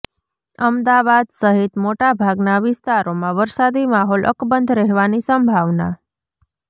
અમદાવાદ સહિત મોટા ભાગના વિસ્તારોમાં વરસાદી માહોલ અકબંધ રહેવાની સંભાવના